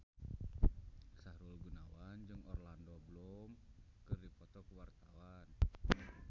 Sahrul Gunawan jeung Orlando Bloom keur dipoto ku wartawan